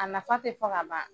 A nafa ti fɔ ka ban